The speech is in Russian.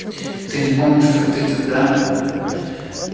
ты не помнишь как ты тогда